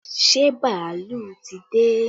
Ṣé bàálù ti dé?